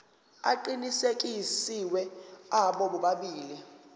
aqinisekisiwe abo bobabili